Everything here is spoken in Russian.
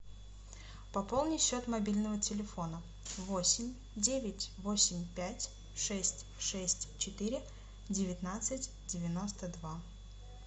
пополни счет мобильного телефона восемь девять восемь пять шесть шесть четыре девятнадцать девяносто два